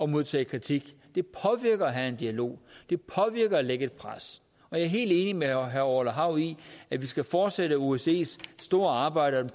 modtage kritik det påvirker at have en dialog og det påvirker at lægge et pres jeg er helt enig med herre orla hav i at vi skal fortsætte osces store arbejde og